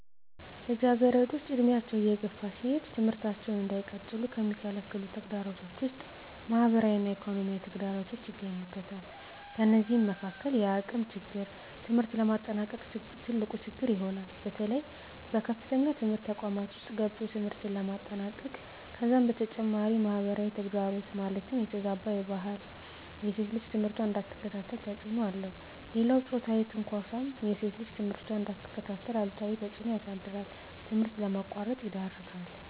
ልጃገረዶች ዕድሜያቸው እየገፋ ሲሄድ ትምህርታቸውን እንዳይቀጥሉ ከሚከለክሉ ተግዳሮቶች ውስጥ ማህበራዊ እና ኢኮኖሚያዊ ተግዳሮቶች ይገኙበታል። ከነዚህም መካካል የአቅም ችግር ትምህርት ለማጠናቀቅ ትልቁ ችግር ይሆናል። በተለይ በከፍተኛ ትምህርት ተቋማት ውስጥ ገብቶ ትምህርትን ለማጠናቀቅ ከዛም በተጨማሪ ማህበራዊ ተግዳሮት ማለትም የተዛባ ባህል ሴት ልጅ ትምህርቷን እንዳትከታተል ተፅዕኖ አለው። ሌላው ፆታዊ ትንኳሳም ሴት ልጅ ትምህርቷን እንዳትከታተል አሉታዊ ተፅዕኖ ያሳድራል ትምህርት ለማቋረጥ ይዳርጋል።